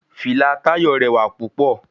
Fìlà Táyọ̀ rẹwà púpọ̀.